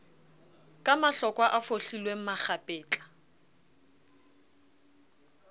ka mahlokwa a fohlilweng makgapetla